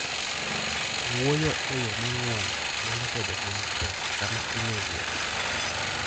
Wuoyo e yo mang'won nyalo bedo gima tek sama in e wuoth.